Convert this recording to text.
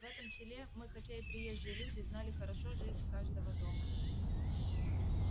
в этом селе мы хотя и приезжие люди знали хорошо жизнь каждого дома